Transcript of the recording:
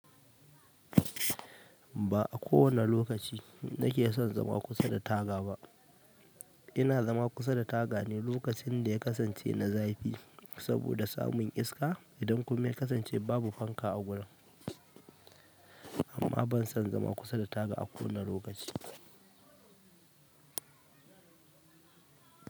Ba a kowani lokaci na ke son zama kusa da taga ba. Ina zama kusa da taga ne lokacin da ya kasance na zafi saboda samun iska idan kuma ya kasance babu fanka a gurin, amma ban son zama kusa da taga a kowani lokaci.